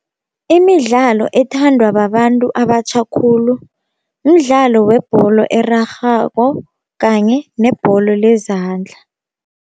Imidlalo ethandwa babantu abatjha khulu mdlalo webholo erarhako kanye nebholo lezandla.